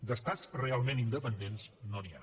d’estats realment independents no n’hi ha